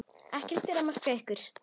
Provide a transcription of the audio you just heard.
Ekkert er að marka ykkur.